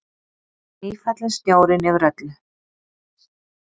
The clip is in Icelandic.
Nýfallinn snjórinn yfir öllu.